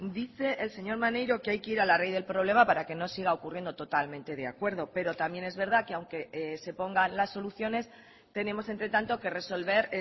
dice el señor maneiro que hay que ir a la raíz del problema para que no siga ocurriendo totalmente de acuerdo pero también es verdad que aunque se pongan las soluciones tenemos entre tanto que resolver